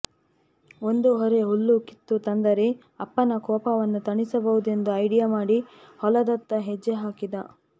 ಒಂದು ಹೊರೆ ಹುಲ್ಲು ಕಿತ್ತು ತಂದರೆ ಅಪ್ಪನ ಕೋಪವನ್ನು ತಣಿಸಬಹುದೆಂದು ಐಡಿಯಾ ಮಾಡಿ ಹೊಲದತ್ತ ಹೆಜ್ಜೆ ಹಾಕಿದ